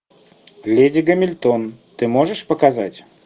леди гамильтон ты можешь показать